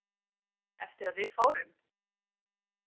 Eftir að við fórum?